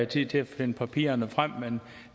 tid til at finde papirerne frem men